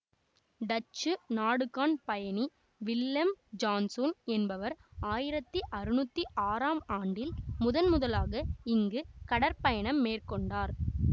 Dutch நாடுகாண் பயணி Willem Janszoon என்பவர் ஆயிரத்தி அறுநூற்றி ஆறாம் ஆண்டில் முதன் முதலாக இங்கு கடற் பயணம் மேற்கொண்டார்